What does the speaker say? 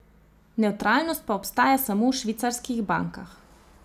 Nevtralnost pa obstaja samo v švicarskih bankah.